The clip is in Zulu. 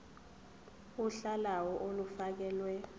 uhla lawo olufakelwe